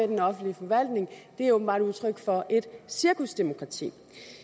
den offentlige forvaltning er åbenbart udtryk for et cirkusdemokrati